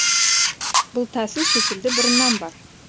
бұл тәсіл шетелде бұрыннан бар